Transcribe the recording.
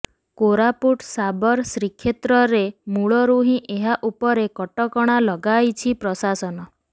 କୋରାପୁଟ ଶାବର ଶ୍ରୀକ୍ଷେତ୍ରରେ ମୂଳରୁ ହିଁ ଏହା ଉପରେ କଟକଣା ଲଗାଇଛି ପ୍ରଶାସନ